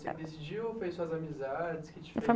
você que decidiu ou foi suas amizades que te